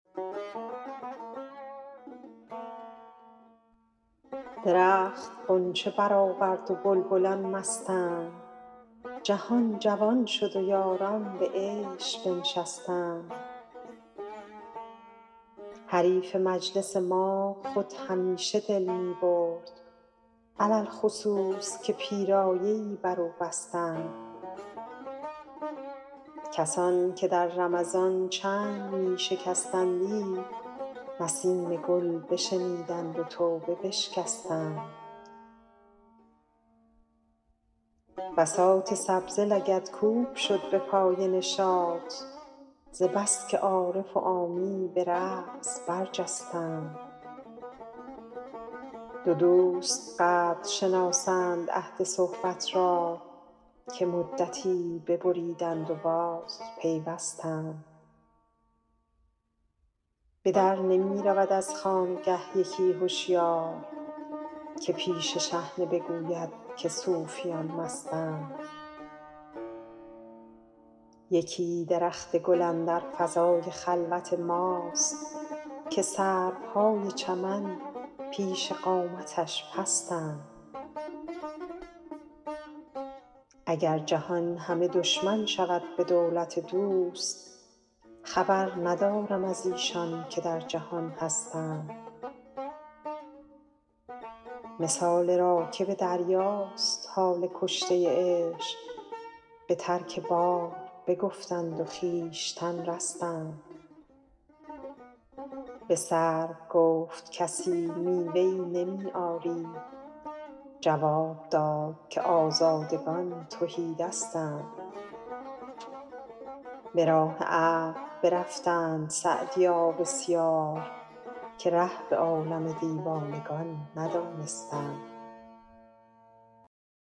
درخت غنچه برآورد و بلبلان مستند جهان جوان شد و یاران به عیش بنشستند حریف مجلس ما خود همیشه دل می برد علی الخصوص که پیرایه ای بر او بستند کسان که در رمضان چنگ می شکستندی نسیم گل بشنیدند و توبه بشکستند بساط سبزه لگدکوب شد به پای نشاط ز بس که عارف و عامی به رقص برجستند دو دوست قدر شناسند عهد صحبت را که مدتی ببریدند و بازپیوستند به در نمی رود از خانگه یکی هشیار که پیش شحنه بگوید که صوفیان مستند یکی درخت گل اندر فضای خلوت ماست که سروهای چمن پیش قامتش پستند اگر جهان همه دشمن شود به دولت دوست خبر ندارم از ایشان که در جهان هستند مثال راکب دریاست حال کشته عشق به ترک بار بگفتند و خویشتن رستند به سرو گفت کسی میوه ای نمی آری جواب داد که آزادگان تهی دستند به راه عقل برفتند سعدیا بسیار که ره به عالم دیوانگان ندانستند